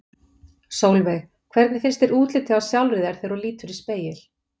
Sólveig: Hvernig finnst þér útlitið á sjálfri þér þegar þú lítur í spegil?